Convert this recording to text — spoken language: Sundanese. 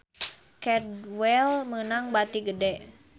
Cadwell meunang bati gede